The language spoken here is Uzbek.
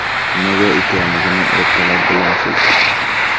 Nimaga ekanligini ertalab bilasiz.